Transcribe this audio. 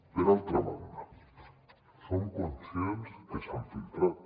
per altra banda som conscients que s’han filtrat